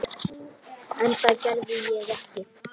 En það gerði ég ekki.